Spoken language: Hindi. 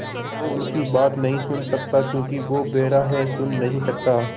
वो उनकी बात नहीं सुन सकता क्योंकि वो बेहरा है सुन नहीं सकता